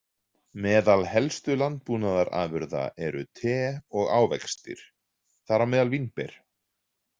Meðal helstu landbúnaðarafurða eru te og ávextir, þar á meðal vínber.